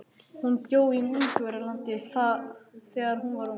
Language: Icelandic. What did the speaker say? Hún bjó í Ungverjalandi þegar hún var ung.